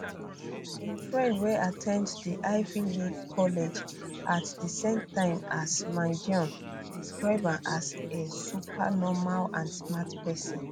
im friend wey at ten d di ivy league college at di same time as mangione describe am as a super normal and smart person